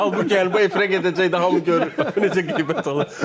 Halbuki bu efirə gedəcək, hamı görür, necə qeybət olur.